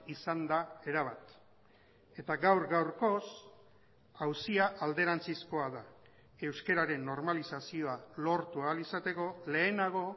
izan da erabat eta gaur gaurkoz auzia alderantzizkoa da euskararen normalizazioa lortu ahal izateko lehenago